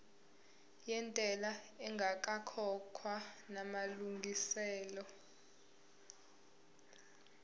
yentela ingakakhokhwa namalungiselo